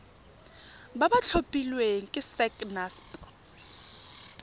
ba ba tlhophilweng ke sacnasp